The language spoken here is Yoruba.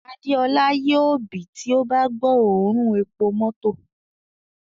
Adeola yoo bì ti o ba gbo oorun epo mọto